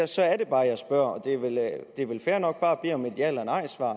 så er det bare jeg spørger og det er vel fair nok bare at bede om et ja eller nejsvar